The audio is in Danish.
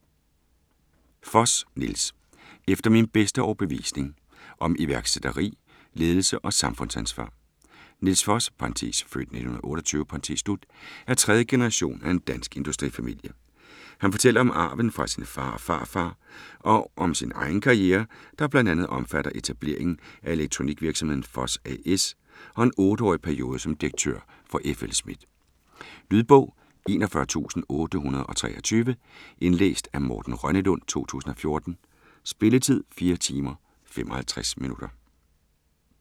Foss, Nils: Efter min bedste overbevisning: om iværksætteri, ledelse og samfundsansvar Nils Foss (f. 1928) er tredje generation af en dansk industrifamilie. Han fortæller om arven fra sin far og farfar og om sin egen karriere, der bl.a. omfatter etableringen af elektronikvirksomheden Foss A/S, og en 8-årig periode som direktør for F. L. Schmidt. Lydbog 41823 Indlæst af Morten Rønnelund , 2014. Spilletid: 4 timer, 55 minutter.